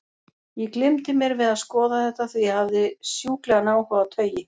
Ég gleymdi mér við að skoða þetta, því ég hafði sjúklegan áhuga á taui.